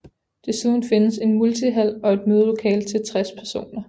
Desuden findes en multihal og et mødelokale til 60 personer